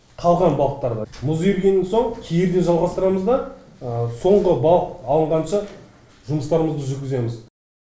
қалған балықтарды мұз еріген соң кейін де жалғастырамыз да соңғы балық алынғанша жұмыстарымызды жүргіземіз